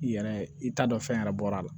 I yɛrɛ i t'a dɔn fɛn yɛrɛ bɔra la